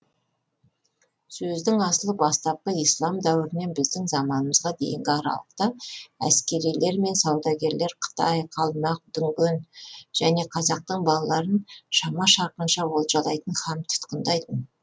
сөздің асылы бастапқы ислам дәуірінен біздің заманымызға дейінгі аралықта әскерилер мен саудагерлер қытай қалмақ дүнген және қазақтың балаларын шама шарқынша олжалайтын һәм тұтқындайтын